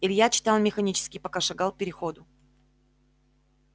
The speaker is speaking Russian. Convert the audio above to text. илья читал механически пока шагал к переходу